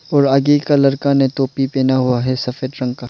और आगे एक लड़का ने टोपी पहना हुआ है सफेद रंग का।